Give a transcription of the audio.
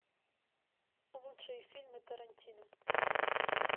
лучшие фильмы тарантино